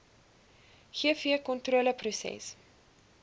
gvkontroleproses